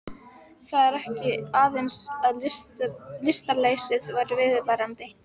Það var ekki aðeins að lystarleysið væri viðvarandi.